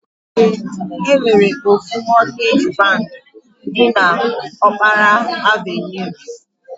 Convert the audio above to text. E nwere ofu Mọtgej bank dị n'Ọkpara Avenue.